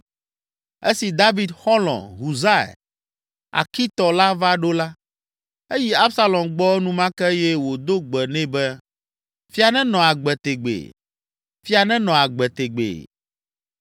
Esi David xɔlɔ̃, Husai, Arkitɔ la va ɖo la, eyi Absalom gbɔ enumake eye wòdo gbe nɛ be, “Fia nenɔ agbe tegbee. Fia nenɔ agbe tegbee!”